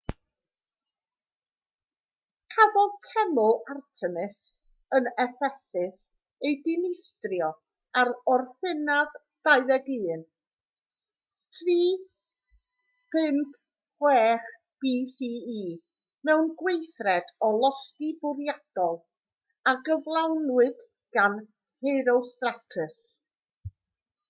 cafodd teml artemis yn effesus ei dinistrio ar orffennaf 21 356 bce mewn gweithred o losgi bwriadol a gyflawnwyd gan herostratus